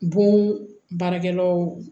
Bon baarakɛlaw